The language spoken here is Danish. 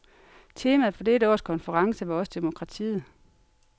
Temaet for dette års konference var også demokratiet.